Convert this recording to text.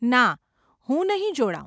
ના, હું નહીં જોડાવ .